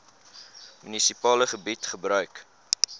munisipale gebied gebruik